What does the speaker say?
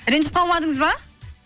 ренжіп қалмадыңыз ба